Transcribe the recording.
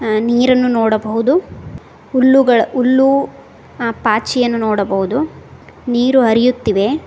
ಆ ನೀರನ್ನು ನೋಡಬಹುದು ಹುಲ್ಲುಗಳ ಹುಲ್ಲು ಆ ಪಾಚಿಯನ್ನು ನೋಡಬಹುದು ನೀರು ಹರಿಯುತ್ತಿವೆ.